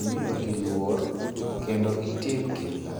imiyogi luor kendo itim kinda.